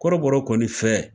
Kɔrɔbɔrɔ kɔni fɛ.